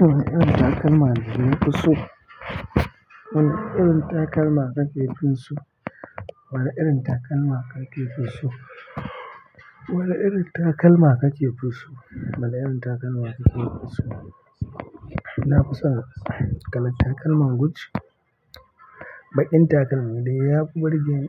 Wane irin takalma kuke so? Wane irin takalma kake so? Wane irin takalma kake so? Wane irin takalma kake so? Wane irin takalma kake so? Nafi son kalan takalman Gucci. Baƙin takalmi dai yafi burge ni,